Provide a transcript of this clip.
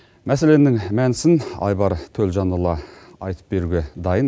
мәселенің мәнісін айбар төлжанұлы айтып беруге дайын